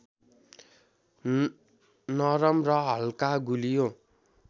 नरम र हल्का गुलियो